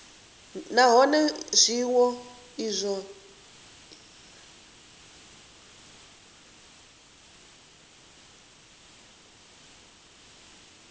nahone zwiwo izwo zwo bvelela